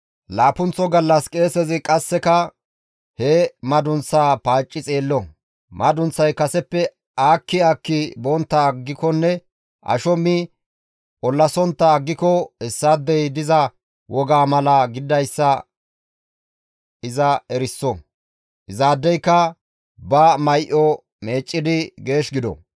Laappunththo gallas qeesezi qasseka he madunththaa paacci xeello; madunththay kaseppe aakki aakki bontta aggikonne asho mi ollasontta aggiko hessaadey diza wogaa mala gididayssa iza eriso; izaadeyka ba may7o meeccidi geesh gido.